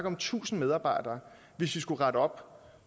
om tusind medarbejdere hvis vi skulle rette op